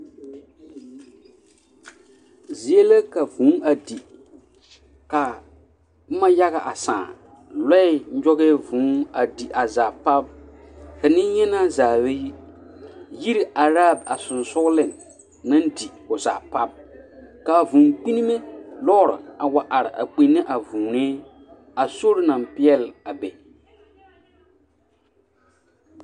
Zie la ka vūū a di ka boma yaɡa a sãã lɔɛ nyɔɡɛɛ vūū a di a zaa pap ka nenyenaa zaa ba yi yiri araa a sensoleŋ naŋ di o zaa pap ka a vūū kpinnime lɔɔre a wa are a kpinne a vūūnee a sori na peɛle a be.